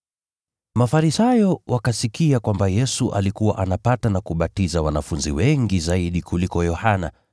Mafarisayo wakasikia kwamba Yesu alikuwa anapata na kubatiza wanafunzi wengi zaidi kuliko Yohana,